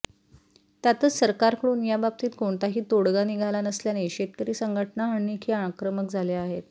त्यातच सरकारकडून याबाबतीत कोणताही तोडगा निघाला नसल्याने शेतकरी संघटना आणखी आक्रमक झाल्या आहेत